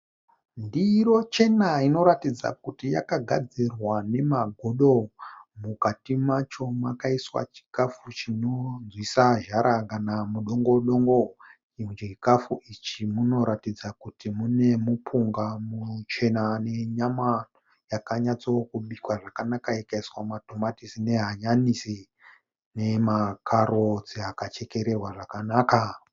Ndiro chena inoratidza kuti yakagadzirwa nemagodo. Mukati macho makaiswa chikafu chino nzwisa zhara kana mudongodongo. Muchikafu ichi munoratidza kuti mune mupunga muchena nenyama yakanyatsa kubikwa zvakanaka ikaiswa matomatisi, ne hanyanisi ,nema karotsi akachekererwa zvakanaka.